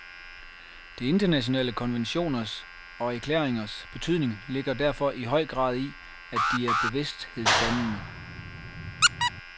De internationale konventioners og erklæringers betydning ligger derfor i høj grad i, at de er bevidsthedsdannende.